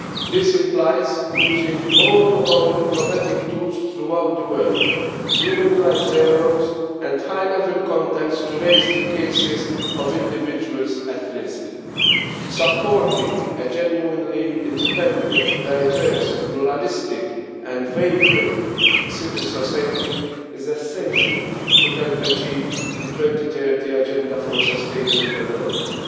This implies using all of our diplomatic tools throughout the world, human rights dialogues and high level contacts to raise the cases of individuals at risk. Supporting a genuinely independent, diverse, pluralistic and vibrant civil society is essential to help achieve the 2030 Agenda for Sustainable Development.